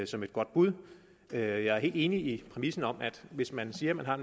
som et godt bud jeg er helt enig i præmissen om at hvis man siger man har